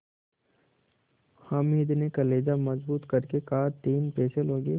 हामिद ने कलेजा मजबूत करके कहातीन पैसे लोगे